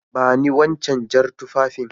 Bani Wancan jar tufafin